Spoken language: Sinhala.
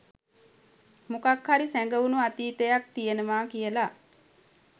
මොකක් හරි සැඟවුණු අතීතයක් තියනවා කියලා.